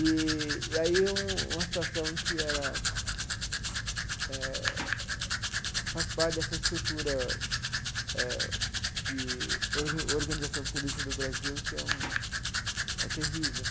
Eee e aí um uma situação que era eh faz parte dessa estrutura eh de orga organização política do Brasil que é um é terrível.